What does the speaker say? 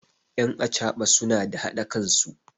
yan achaban suna da haɗa kansu